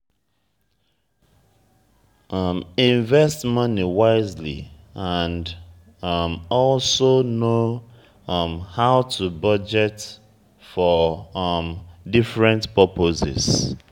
invest money wisely and um also know um how to budget for um different purposes